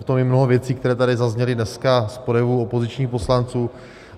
Je tam i mnoho věcí, které tady zazněly dneska z projevů opozičních poslanců.